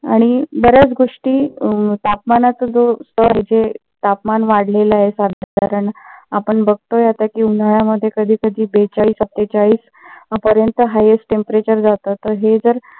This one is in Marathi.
आणि बऱ्याच गोष्टी तापमानाच जे स्तर जे तापमान वाढलेले आहे. साधारण आपण बघतोय आता कि उन्हाळ्यामध्ये कधी कधी बेचाळीस सत्तेचाळीस पर्यंत highest temperature जात तर हे जर